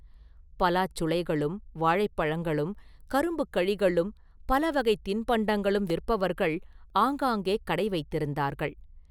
பலாச் சுளைகளும் வாழைப் பழங்களும் கரும்புக் கழிகளும் பலவகைத் தின்பண்டங்களும் விற்பவர்கள் ஆங்காங்கே கடை வைத்திருந்தார்கள்.